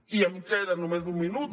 i em queda només un minut